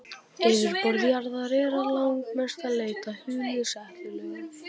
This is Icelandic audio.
Yfirborð jarðar er að langmestu leyti hulið setlögum.